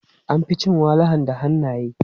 An fi cin walahan da hannaye.